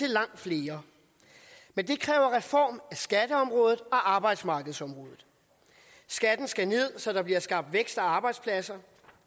langt flere men det kræver reformer af skatteområdet og arbejdsmarkedsområdet skatten skal ned så der bliver skabt vækst og arbejdspladser